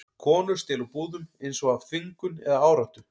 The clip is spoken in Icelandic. Konur stela úr búðum, eins og af þvingun eða áráttu.